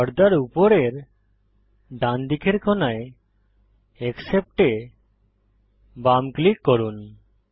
পর্দার উপরের ডান দিকের কোণায় অ্যাকসেপ্ট এ বাম ক্লিক করুন